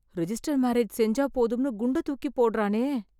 register marriage செஞ்சா போதும்னு குண்ட தூக்கி போட்றானே...